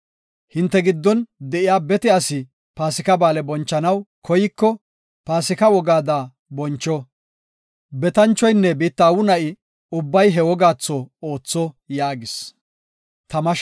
“Hinte giddon de7iya bete asi Paasika Ba7aale bonchanaw koyko, Paasika wogaada boncho. Betanchoynne biitta aawu na7i ubbay he wogaatho ootho” yaagis.